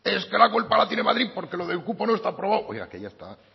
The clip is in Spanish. es que la culpa la tiene madrid porque lo del cupo no está aprobado oiga que ya está